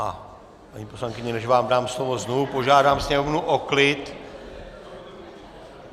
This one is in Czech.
A paní poslankyně, než vám dám slovo, znovu požádám sněmovnu o klid.